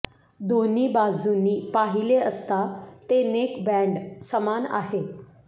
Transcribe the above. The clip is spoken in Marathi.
दोन्ही बाजूंनी पाहिले असता ते नेकबँड समान आहे